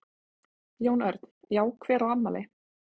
Jón Örn: Já hver á afmæli?